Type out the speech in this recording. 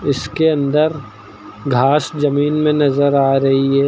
इसके अंदर घास जमीन में नजर आ रही है।